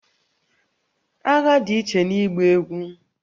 Agha dị iche na ịgba egwú